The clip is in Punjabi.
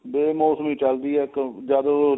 ਬੇ ਮੋਸਮੀ ਚੱਲਦੀ ਹੈ ਕਿਉਂ ਜਦ ਉਹ